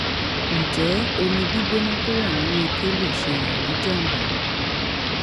ǹjẹ́ omi gbígbóná tó wà nínú ike lè ṣe èèyàn ní jàǹbá?